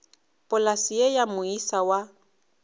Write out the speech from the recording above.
polase ye ya moisa wa